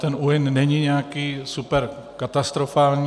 Ten úhyn není nějaký superkatastrofální.